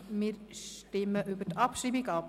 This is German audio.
Wir stimmen über die Abschreibung ab.